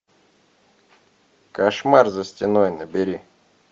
кошмар за стеной набери